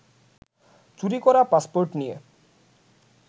চুরি করা পাসপোর্ট নিয়ে